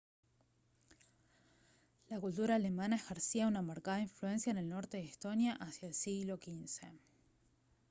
la cultura alemana ejercía una marcada influencia en el norte de estonia hacia el siglo xv